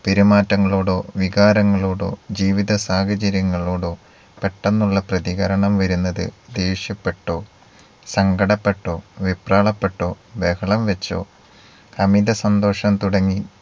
പെരുമാറ്റങ്ങളോടോ വികാരങ്ങളോടോ ജീവിത സാഹചര്യങ്ങളോടോ പെട്ടെന്നുള്ള പ്രതികരണം വരുന്നത് ദേഷ്യപ്പെട്ടോ സങ്കടപ്പെട്ടോ വെപ്രാളപ്പെട്ടോ ബഹളം വെച്ചോ അമിത സന്തോഷം തുടങ്ങി